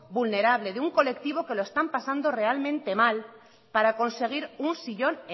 vulnerable de un colectivo que lo está pasando realmente mal para conseguir un sillón